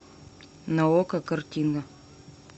на окко картина